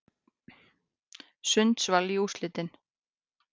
Sundsvall í úrslitin